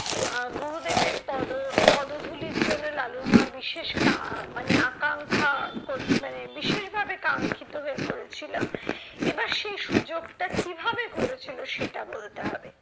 আহ গুরুদেবের পদ পদধূলির জন্য লালুর মা বিশেষ কা মানে আকাঙ্খা কর মানে বিশেষ ভাবে কাঙ্খিত হয়ে পড়েছিল, এবার সেই সুযোগটা কিভাবে ঘটেছিলো সেটা বলতে হবে।